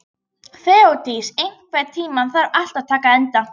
Þeódís, einhvern tímann þarf allt að taka enda.